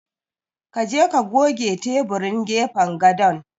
Ka je ka goge teburin gefen gadon.